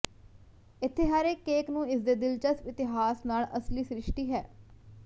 ਇੱਥੇ ਹਰ ਇੱਕ ਕੇਕ ਨੂੰ ਇਸਦੇ ਦਿਲਚਸਪ ਇਤਿਹਾਸ ਨਾਲ ਇੱਕ ਅਸਲੀ ਸ਼੍ਰਿਸਟੀ ਹੈ